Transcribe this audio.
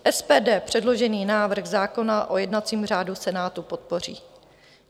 SPD předložený návrh zákona o jednacím řádu Senátu podpoří.